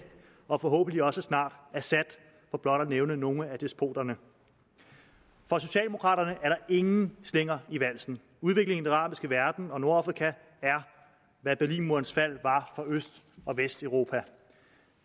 og forhåbentlig også snart assad for blot at nævne nogle af despoterne for socialdemokraterne er der ingen slinger i valsen udviklingen i den arabiske verden og nordafrika er hvad berlinmurens fald var for øst og vesteuropa